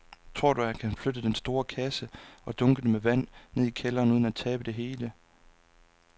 Tror du, at han kan flytte den store kasse og dunkene med vand ned i kælderen uden at tabe det hele?